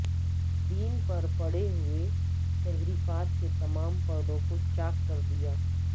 دین پر پڑے ہوئے تحریفات کے تمام پردوں کو چاک کردیا